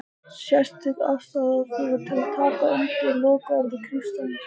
Sérstök ástæða er til að taka undir lokaorð Kristjáns